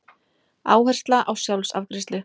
Áhersla á sjálfsafgreiðslu